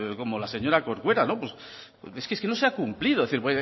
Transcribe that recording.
como la señora corcuera no pues es que no se ha cumplido es decir